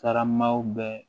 Karamaw bɛ